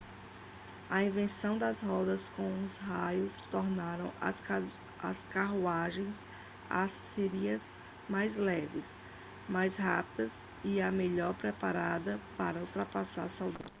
a invenção das rodas com raios tornaram as carruagens assírias mais leves mais rápidas e melhor preparadas para ultrapassar soldados e outras carruagens